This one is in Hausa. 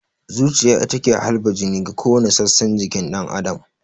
Zuciya ita ke halba jini ga kowani sassan jikin ɗan adam